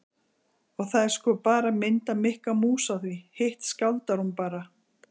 Og það er sko bara mynd af Mikka mús á því, hitt skáldar hún bara.